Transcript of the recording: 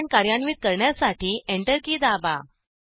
command कार्यान्वित करण्यासाठी enter key दाबा